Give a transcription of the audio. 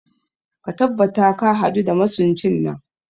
Ka tabbata ka hadu da masuncin nan